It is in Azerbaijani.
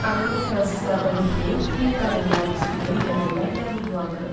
Ağıllı fransızlardan biri deyib ki, qadınlar bizi böyük əməllərlə ruhlandırırlar.